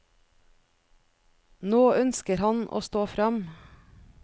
Nå ønsker han å stå fram.